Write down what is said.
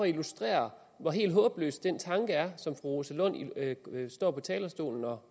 illustrere hvor helt håbløs den tanke er som fru rosa lund står på talerstolen og